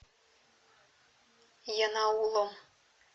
янаулом